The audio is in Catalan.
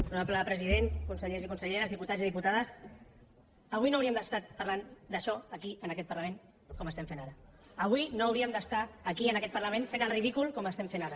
honorable president consellers i conselleres diputats i diputades avui no hauríem d’estar parlant d’això aquí en aquest parlament com estem fent ara avui no hauríem d’estar aquí en aquest parlament fent el ridícul com estem fent ara